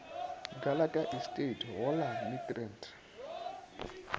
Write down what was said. gallagher estate go la midrand